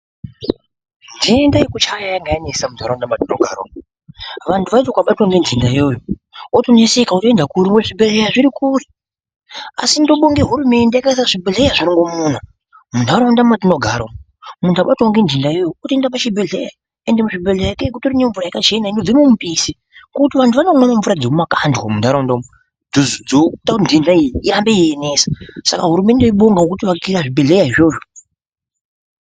Nhenda yekuchaya yanyanyisa munharaunda mwatinogara umu. Vantu vaiti vakabatwa ngenhenda iyoyo, otoneseka voenda kuri zvibhedhleya zviri kure. Asi ndobonga hurumende yakaisa zvibhedhleya zvirongomuna munharaunda mwatinogara umu. Muntu akabatwawo ngenhenda iyoyo otoenda pachibhendhleya. Ende muzvibhedhleya ikweyo kutoti nemvura yakachena inobva mumupisi. Antu anomwa mvura dzemumakandwa munharaunda umu. Saka hurumende tinobonga ngekuti akira zvibhedhleya izvozvo.